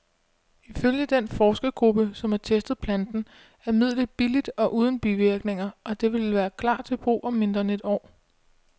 Ifølge den forskergruppe, som har testet planten, er midlet billigt og uden bivirkninger, og det vil klar til brug om mindre end et år.